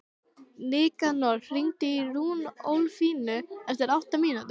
Nikanor, hringdu í Runólfínu eftir átta mínútur.